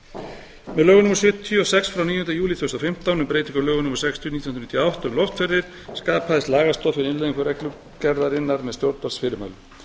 lögum númer sjötíu og sex frá níunda júlí tvö þúsund og fimmtán með breytingum á lögum númer sextíu nítján hundruð níutíu og átta um loftferðir skapaðist lagastoð fyrir innleiðingu reglugerðarinnar með stjórnvaldsfyrirmælum